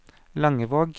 Langevåg